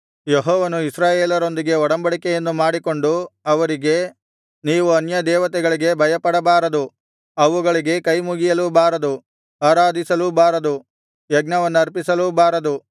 ಯೆಹೋವನು ಇಸ್ರಾಯೇಲರೊಂದಿಗೆ ಒಡಂಬಡಿಕೆಯನ್ನು ಮಾಡಿಕೊಂಡು ಅವರಿಗೆ ನೀವು ಅನ್ಯದೇವತೆಗಳಿಗೆ ಭಯಪಡಬಾರದು ಅವುಗಳಿಗೆ ಕೈಮುಗಿಯಲೂ ಬಾರದು ಆರಾಧಿಸಲೂಬಾರದು ಯಜ್ಞವನ್ನರ್ಪಿಸಲೂಬಾರದು